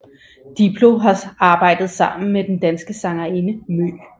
Diplo har arbejdet sammen med den danske sangerinde MØ